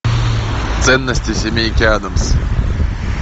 ценности семейки адамс